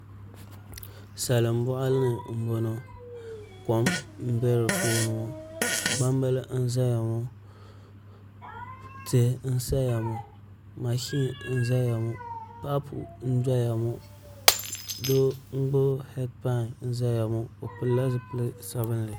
Salin boɣali ni n boŋo kom n bɛ di puuni ŋo gbambili n ʒɛya ŋo tihi n saya ŋo mashin n ʒɛya ŋo paapu n doya ŋo doo n gbuni heed pai n ʒɛya ŋo o pilila zipili sabinli